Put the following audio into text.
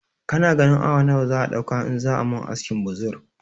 Kana ganin awa nawa zai ɗauka in za ayi mun askin buzur